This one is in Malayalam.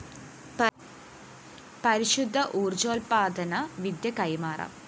പരിശുദ്ധ ഊര്‍ജ്ജോല്‍പ്പാദന വിദ്യ കൈമാറാം